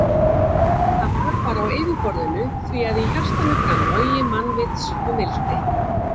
En það var bara á yfirborðinu því að í hjartanu brann logi mannvits og mildi.